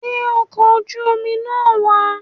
Gbé ọkọ̀ oju-omi náà wà